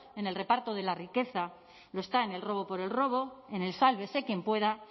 en el reparto de la riqueza lo está en el robo por el robo en el sálvese quien pueda